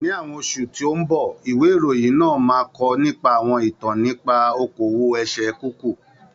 Ní àwọn oṣù tí ó ń bọ̀, ìwé ìròyìn náà máa kọ nípa àwọn ìtàn nípa okòwò ẹsẹ̀ kúkú.